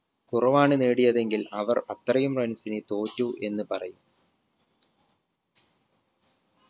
കുറവാണ് നേടിയതെങ്കിൽ അവർ അത്രയും runs ന് തോറ്റു എന്ന് പറയും